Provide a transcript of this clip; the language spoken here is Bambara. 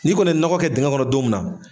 N'i kɔni ye nɔgɔ kɛ dingɛ kɔnɔ don mun na.